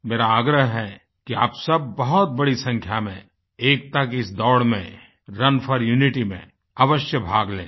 मेरा आग्रह है कि आप सब बहुत बड़ी संख्या में एकता की इस दौड़ में रुन फोर यूनिटी में अवश्य भाग लें